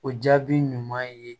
O jaabi ɲuman ye